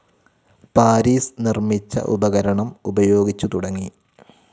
Paris നിർമ്മിച്ച ഉപകരണം ഉപയോഗിച്ചുതുടങ്ങി